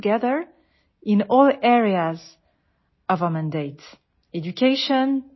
UNESCO আৰু ভাৰতৰ এক দীঘলীয়া উমৈহতীয়া ইতিহাস আছে